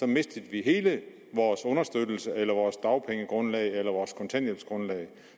mistede vi hele vores understøttelse eller vores dagpengegrundlag eller vores kontanthjælpsgrundlag